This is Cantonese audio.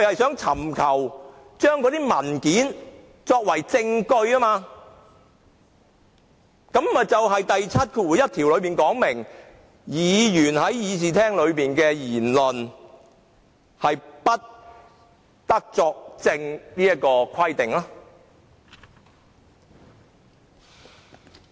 政府尋求使用有關文件作為證據，已違反《條例》第71條有關議員在會議席上的言論不得作為證據的規定。